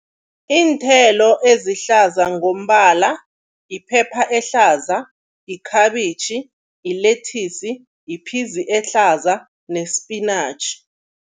Iinthelo ezihlaza ngokombala, iphepha ehlaza, yikhabitjhi, yilethisi, yiphizi ehlaza nesipinatjhi.